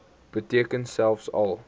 beteken selfs al